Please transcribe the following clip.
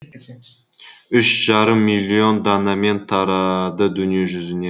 үш жарым миллион данамен тарады дүниежүзіне